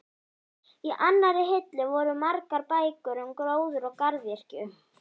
Í annarri hillu voru margar bækur um gróður og garðyrkju.